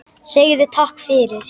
Segðu takk fyrir.